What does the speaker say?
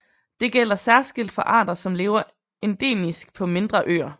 Det gælder særskilt for arter som lever endemisk på mindre øer